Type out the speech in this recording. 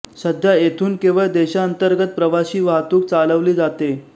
सध्या येथून केवळ देशांतर्गत प्रवासी वाहतूक चालवली जाते